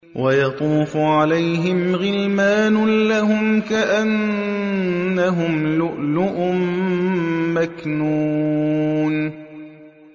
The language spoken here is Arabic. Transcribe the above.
۞ وَيَطُوفُ عَلَيْهِمْ غِلْمَانٌ لَّهُمْ كَأَنَّهُمْ لُؤْلُؤٌ مَّكْنُونٌ